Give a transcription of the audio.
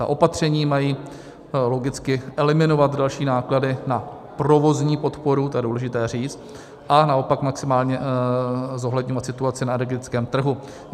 Ta opatření mají logicky eliminovat další náklady na provozní podporu, to je důležité říct, a naopak maximálně zohledňovat situaci na energetickém trhu.